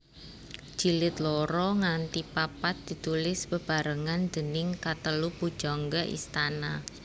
Jilid loro nganti papat ditulis bebarengan déning katelu pujangga istana